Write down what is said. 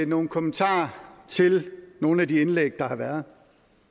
nogle kommentarer til nogle af de indlæg der har været